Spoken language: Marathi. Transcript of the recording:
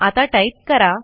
आता टाईप करा